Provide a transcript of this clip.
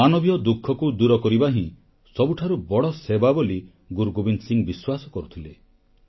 ମାନବୀୟ ଦୁଃଖକୁ ଦୂର କରିବା ହିଁ ସବୁଠାରୁ ବଡ଼ ସେବା ବୋଲି ଗୁରୁ ଗୋବିନ୍ଦ ସିଂ ବିଶ୍ୱାସ କରୁଥିଲେ